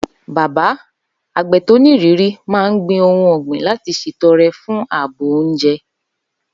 Baba, àgbẹ̀ tó nírìírí, máa ń gbin ohun ọ̀gbìn láti ṣètọrẹ fún ààbò oúnjẹ.